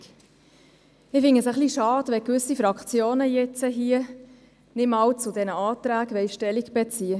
Ich finde es schade, wenn gewisse Fraktionen zu diesen Anträgen nicht einmal Stellung beziehen.